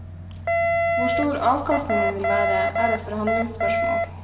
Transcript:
Hvor stor avkastningen vil være, er et forhandlingsspørsmål.